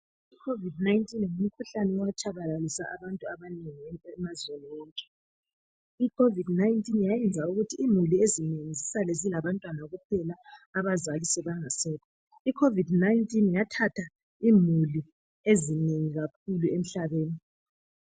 Ikhovidi 19, ngumkhuhlane owatshabalalisa abantu abanengi emazweni wonke. Yayenza ukuthi imuli ezinengi zisale sezilabantwana kuphela abazali bengasekho. Yathatha imuli ezinengi kakhulu emhlabeni.